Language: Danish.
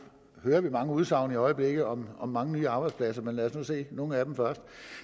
ved at vi mange udsagn i øjeblikket om om mange nye arbejdspladser men lad os nu se nogle af dem først